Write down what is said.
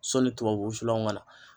Sɔni tubabu wusulanw ka na.